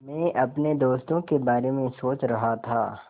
मैं अपने दोस्तों के बारे में सोच रहा था